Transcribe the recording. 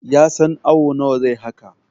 ya san awo nawa zai haka!